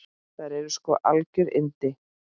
Þær eru sko algjör yndi.